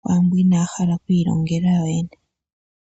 kwaambo inaa hala oku ilongela yoyene.